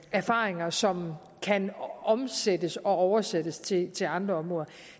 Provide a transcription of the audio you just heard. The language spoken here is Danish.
erfaringer som kan omsættes og oversættes til til andre områder